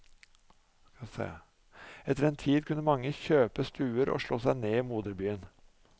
Etter en tid kunne mange kjøpe stuer og slå seg ned i moderbyen.